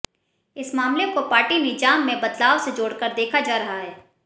इस मामले को पार्टी निजाम में बदलाव से जोड़कर देखा जा रहा है